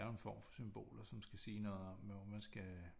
Det er jo en form for symboler som skal sige noget om hvor man skal